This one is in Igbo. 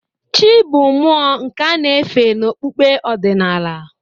Chị́ bụ mmụọ nke a na-efe n'okpukpe ọdịnala.